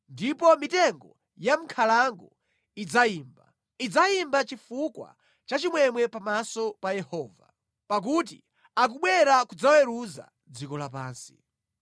Ndipo mitengo ya mʼnkhalango idzayimba, idzayimba chifukwa cha chimwemwe pamaso pa Yehova, pakuti akubwera kudzaweruza dziko lapansi.